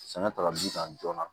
Sɛnɛ ta ka di san joona